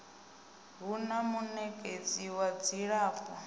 hu na munekedzi wa dzilafho